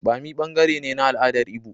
Bommi ɓangare ne na al'adar Igbo.